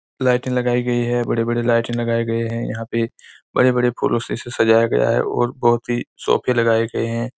लाइटे लगाई गई है। बड़े-बड़े लाइटे लगाए है यहाँ पे बड़े-बड़े फूलो से इसे सजाया गया है और बहोत ही सोफे लगाए गए हैं।